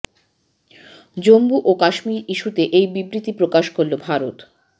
জম্মু ও কাশ্মীর ইস্যুতে এই বিবৃতি প্রকাশ করল ভারত